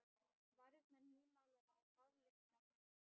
Varirnar nýmálaðar og baðlykt af henni.